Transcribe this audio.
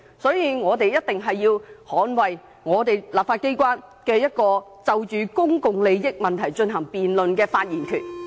所以，我們一定要捍衞立法機關就公共利益問題進行辯論的發言權。